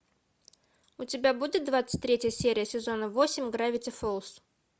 у тебя будет двадцать третья серия сезона восемь гравити фолз